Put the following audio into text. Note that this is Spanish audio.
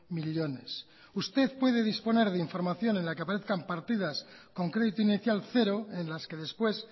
millónes usted puede disponer de información en la que aparezcan partidas con crédito inicial cero en las que después